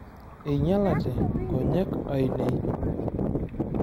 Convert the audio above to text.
Einyalate nkonyek ainei.